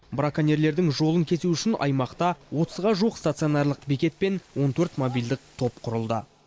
браконьерлердің жолын кесу үшін аймақта отызға жуық стационарлық бекет пен он төрт мобильдік топ құрылды